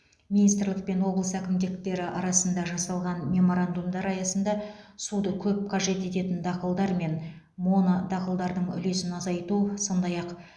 министрлік пен облыс әкімдіктері арасында жасалған меморандумдар аясында суды көп қажет ететін дақылдар мен монодақылдардың үлесін азайту сондай ақ